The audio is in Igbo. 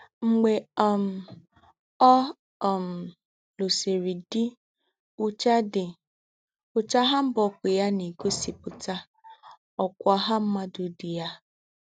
Mgbè um ọ̀ um lùsìrì dí, úchà dí, úchà hanbok yá nà-ègósípùtà ọ́kwá ọ̀hà m̀mùàdù dí yá.